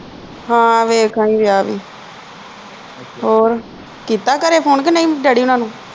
ਹੈ ਵੇਖ ਆਈ ਵਿਆਹ ਵੀ ਹੋਰ ਕੀਤਾ ਘਰੇ phone ਕੇ ਨਹੀਂ ਡੈਡੀ ਹੋਣਾ ਨੂੰ?